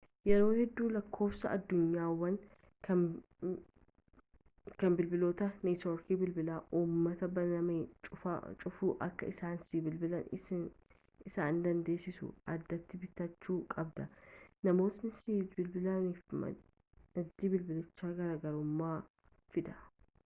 yeroo hedduu lakkoofsa addunyaawaa kan bilbiloota neetoorkii bilbilaa uummataan banamee-cufamu akka isaan sii bilbilan isaan dandeessisu addatti bitachuu qabda namoota sii bilbilaniif maddi bilbilichaa garaagarummaa fida